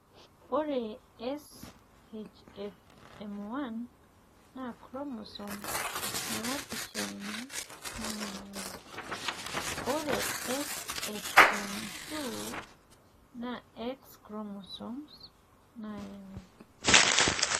ore SHFM1 naa chromosome naapishana nayau ore SHFM 2 n X chromosome nayau.